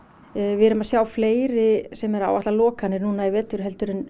við erum að sjá fleiri sem eru að áætla lokanir núna í vetur heldur en